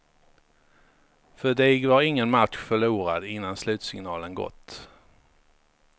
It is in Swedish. För dig var ingen match förlorad innan slutsignalen gått.